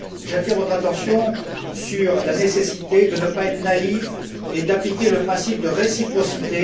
J'attire votre attention sur la nécessité de ne pas être naïfs et d'appliquer le principe de réciprocité